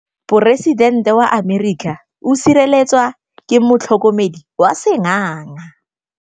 Poresitêntê wa Amerika o sireletswa ke motlhokomedi wa sengaga.